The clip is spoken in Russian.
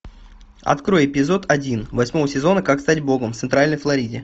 открой эпизод один восьмого сезона как стать богом в центральной флориде